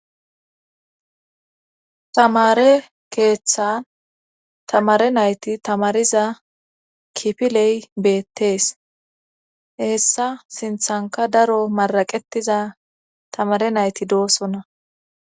tamare keeththan tamare nayti tamariza kipiley beettees hessa sinthanka daro maraqetiza tamare nayti doosonna